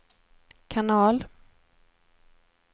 kanal